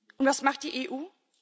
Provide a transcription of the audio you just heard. Und was macht die EU?